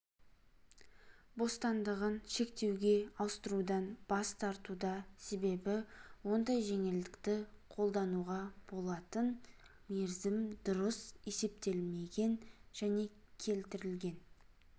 бостандығын шектеуге ауыстырудан бас тартуда себебі ондай жеңілдікті қолдануға болатын мерзім дұрыс есептелмеген және келтірген